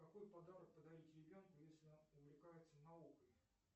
какой подарок подарить ребенку если он увлекается наукой